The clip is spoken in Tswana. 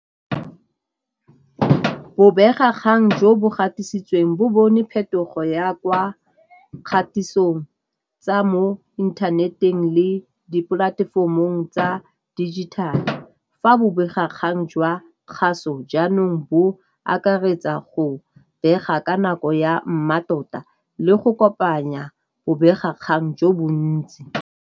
Bobegakgang jo bo gatisitsweng bo bone phetogo ya kwa kgatisong tsa mo internet-eng le dipolatefomong tsa digital-e. Fa bobegakgang jwa kgaso jaanong bo akaretsa go bega ka nako ya mmatota le go kopanya bobegakgang jo bontsi.